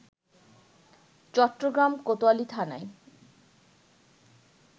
চট্টগ্রাম কোতোয়ালি থানায়